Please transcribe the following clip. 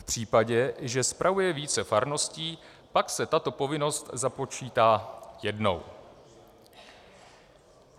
V případě, že spravuje více farností, pak se tato povinnost započítá jednou.